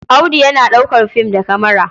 Audu yana ɗaukar film da kamara.